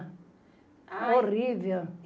Horrível.